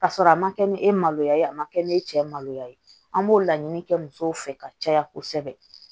Ka sɔrɔ a ma kɛ ni e maloya ye a ma kɛ ni cɛ maloya ye an b'o laɲini kɛ musow fɛ ka caya kosɛbɛ